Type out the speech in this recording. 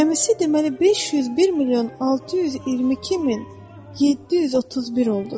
Cəmisi deməli 501 milyon 622 min 731 oldu.